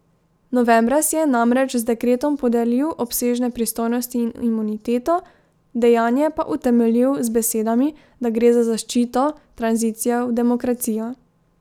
Novembra si je namreč z dekretom podelil obsežne pristojnosti in imuniteto, dejanje pa utemeljil z besedami, da gre za zaščito tranzicije v demokracijo.